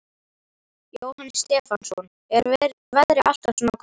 Jóhannes Stefánsson: Er veðrið alltaf svona gott?